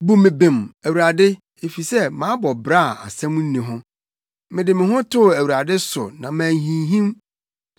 Bu me bem, Awurade, efisɛ, mabɔ bra a asɛm nni ho: mede me ho too Awurade so na manhinhim.